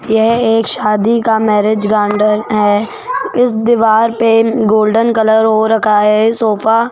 यह एक शादी का मैरिज गार्डन है उस दीवार पे गोल्डन कलर हो रखा है सोफा --